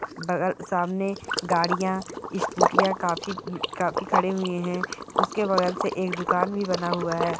बगल अ सामने गाड़ियां स्कूटीया काफी काफी खड़े हुये हैं। उसके बगल से एक दुकान भी बना हुआ है।